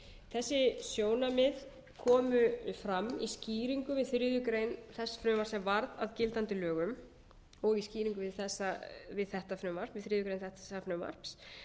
þessi sjónarmið komu fram í skýringu við þriðju greinar þess frumvarps sem varð að gildandi lögum og í skýringum við þriðju grein þessa frumvarps